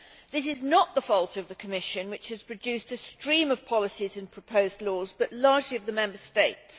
This is not the fault of the Commission, which has produced a stream of policies and proposed laws, but largely of the Member States.